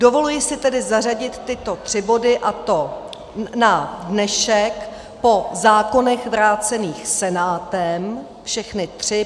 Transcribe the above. Dovoluji si tedy zařadit tyto tři body, a to na dnešek po zákonech vrácených Senátem, všechny tři.